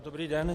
Dobrý den.